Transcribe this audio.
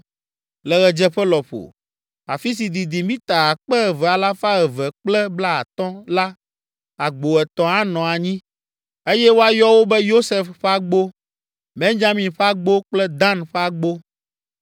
Le ɣedzeƒe lɔƒo, afi si didi mita akpe eve alafa eve kple blaatɔ̃ (2,250) la, agbo etɔ̃ anɔ anyi, eye woayɔ wo be, Yosef ƒe agbo, Benyamin ƒe agbo kple Dan ƒe agbo.